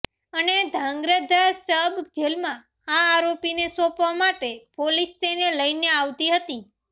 અને ધ્રાંગધ્રા સબ જેલમાં આ આરોપીને સોંપવા માટે પોલીસ તેને લઇને આવતી હતી